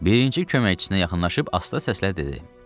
Birinci köməkçisinə yaxınlaşıb asta səslə dedi.